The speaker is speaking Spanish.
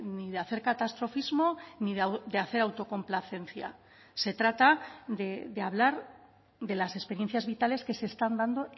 ni de hacer catastrofismo ni de hacer autocomplacencia se trata de hablar de las experiencias vitales que se están dando